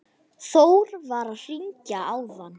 Þór var að hringja áðan.